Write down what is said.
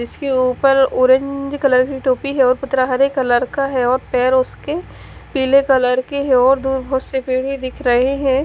जिसके ऊपर orange colour की टोपी है और पत्रा हरे कलर का है और पैर उसके पीले कलर की है और दूर बहोत से दिख रहे हैं।